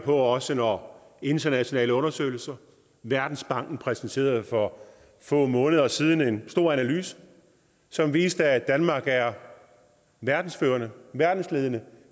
også når internationale undersøgelser verdensbanken præsenterede for få måneder siden en stor analyse som viste at danmark er verdensledende verdensledende